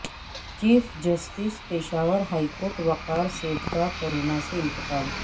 chief justice Peshawar high court Waqar Seth کا کورونا سے انتقال